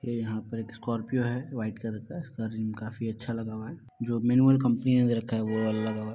ये यहाँ पर एक स्कोर्पियो है व्हाइट कलर का इसका रंग काफी अच्छा लगा हुआ है । जो मिनिमम कपनी ने ले रखा है वो वाला लगा हुआ है।